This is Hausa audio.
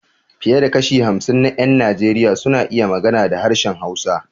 Fiye da kashi hamsin na ƴan Najeriya suna iya magana da harshen Hausa.